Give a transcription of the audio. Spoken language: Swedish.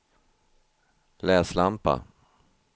läslampa